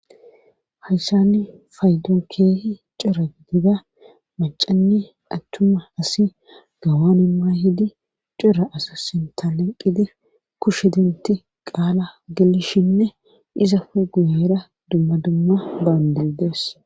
hayssani faydonkeehi cira gdida macanni attuma asi gawan imma hidi cira asa sintala qidi kush hidinti qaala gelishinne izafe guyaera dumma dumma baandidees